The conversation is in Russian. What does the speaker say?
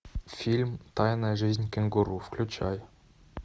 фильм тайная жизнь кенгуру включай